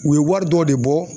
U ye wari dɔ de bɔ.